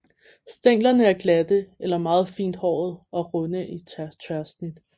Stænglerne er glatte eller meget fint hårede og runde i tværsnit